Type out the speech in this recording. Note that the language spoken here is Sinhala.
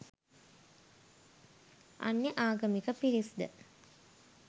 අන්‍ය ආගමික පිරිස් ද